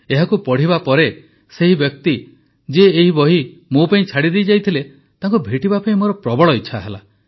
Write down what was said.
ଏହାକୁ ପଢ଼ିବା ପରେ ସେହି ବ୍ୟକ୍ତି ଯିଏ ଏହି ବହି ମୋ ପାଇଁ ଛାଡ଼ିଯାଇଥିଲେ ତାଙ୍କୁ ଭେଟିବା ପାଇଁ ମୋର ଇଚ୍ଛା ହେଲା